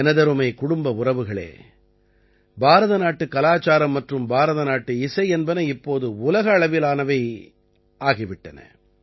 எனதருமைக் குடும்ப உறவுகளே பாரத நாட்டுக் கலாச்சாரம் மற்றும் பாரதநாட்டு இசை என்பன இப்போது உலக அளவிலானவை ஆகி விட்டன